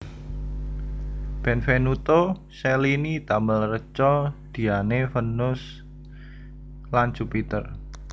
Benvenuto Cellini damel reca Diane Vénus lan Jupiter